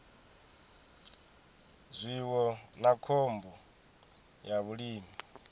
zwiwo na khombo ya vhulimi